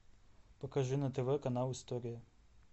покажи на тв канал история